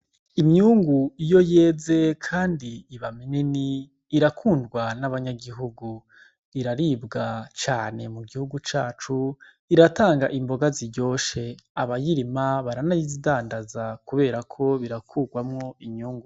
Imyungu iyo yeze kandi iba minini irakundwa n'abanyagihugu iraribwa cane mu gihugu cacu ,iratanga Imboga ziryoshe abayirima baranayidandaza kuberako birakugwamwo inyungu.